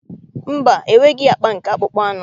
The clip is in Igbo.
Mba, enweghị akpa nke akpụkpọ anụ